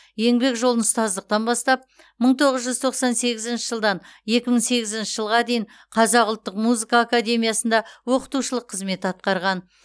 еңбек жолын ұстаздықтан бастап мың тоғыз жүз тоқсан сегізінші жылдан екі мың сегізінші жылға дейін қазақ ұлттық музыка академиясында оқытушылық қызмет атқарған